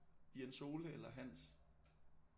Jens Ole eller Hans